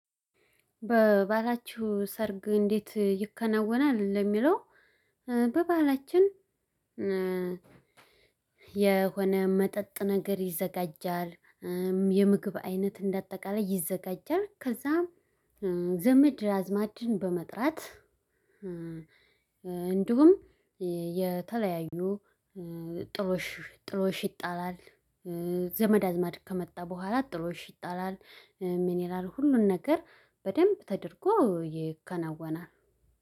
በባህላችሁ ሰርግ እንዴት ይከናወናል? ለሚለው በባህላችን የሆነ መጠጥ ነገር ይዘጋጃል የምግብ አይነት እንደአጠቃላይ ይዘጋጃል ከዛም ዘመድ አዝማድን በመጥራት እንዲሁም የተለያዩ ጥሎሽ ጥሎሽ ይጣላል። ዘመድ አዝማድ ከመጣ በኋላ ጥሎሽ ይጣላል ሚኒራል ሁሉን ነገር በደንብ ተደርጎ ይከናወናል።